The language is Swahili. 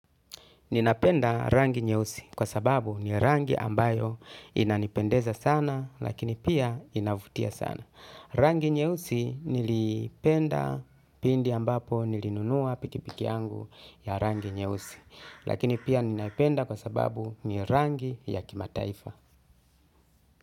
Ninapenda rangi nyeusi kwa sababu ni rangi ambayo inanipendeza sana lakini pia inavutia sana. Rangi nyeusi nilipenda pindi ambapo nilinunua pikipiki yangu ya rangi nyeusi lakini pia ninapenda kwa sababu ni rangi ya kimataifa.